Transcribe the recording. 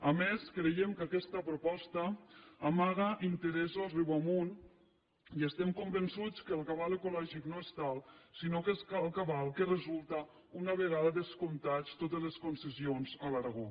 a més creiem que aquesta proposta amaga interessos riu amunt i estem convençuts que el cabal ecològic no és tal sinó que és el cabal que resulta una vegada descomptades totes les concessions a l’aragó